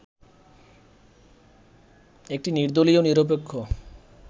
একটি নির্দলীয়-নিরপেক্ষ